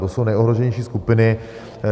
To jsou nejohroženější skupiny.